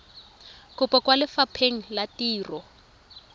kopo kwa lefapheng la ditiro